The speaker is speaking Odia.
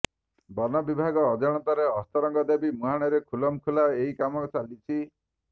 ବନବିଭାଗ ଜଣାତରେ ଅସ୍ତରଙ୍ଗ ଦେବୀ ମୁହାଣରେ ଖୁଲମଖୁଲା ଏହି କାମ ଚାଲିଛି